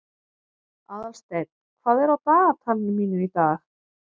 Aðalsteinn, hvað er á dagatalinu mínu í dag?